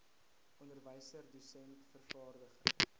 onderwyser dosent vervaardiger